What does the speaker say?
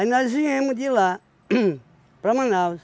Aí nós viemos de lá, hum para Manaus.